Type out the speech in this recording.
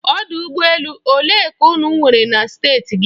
Ọdụ ụgbọ elu olee ka unu nwere na Steeti gị?